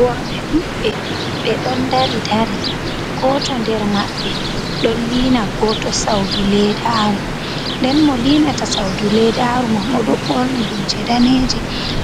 Worɓe ɗuɗɓe ɓe ɗon dari dari goto nder maɓɓe ɗon liina goto saudu ledaru nden mo linata saudu ledaru man oɗo ɓorni lumse daneje